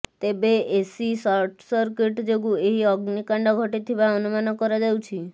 ତେବେ AC short circuit ଯୋଗୁଁ ଏହି ଅଗ୍ନିକାଣ୍ଡ ଘଟିଥିବା ଅନୁମାନ କରାଯାଉଛି